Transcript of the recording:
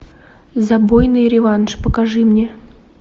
забойный реванш покажи мне